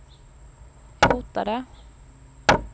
hotade